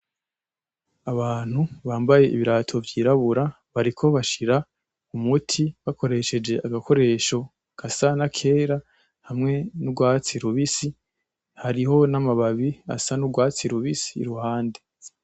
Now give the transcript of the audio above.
Abantu bambaye ibirato vyirabura, bariko bashira umuti bakoresheje agakoresho gasa nakera hamwe n'ugwatsi rubisi, hariho n'amababi asa n'ugwatsi rubisi uruhande.